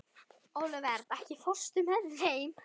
Olivert, ekki fórstu með þeim?